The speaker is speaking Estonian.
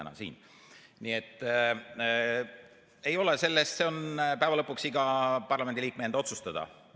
Nii et see on lõpuks iga parlamendiliikme enda otsustada.